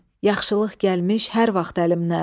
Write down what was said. Yaxşılıq gəlmiş hər vaxt əlimdən.